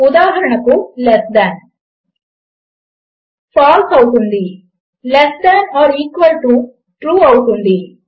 ఉదాహరణకు less than ఫాల్సే అవుతుంది less than or equal to true అవుతుంది